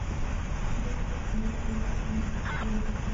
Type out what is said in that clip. есть ли у тебя сериал ангельские ритмы